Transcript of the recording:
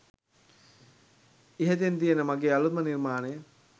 ඉහතින් තියෙන්නෙ මගේ අලුත්ම නිර්මාණය